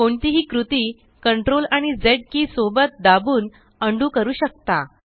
कोणतीही कृती CTRL आणि झ के सोबत दाबून उंडो करू शकता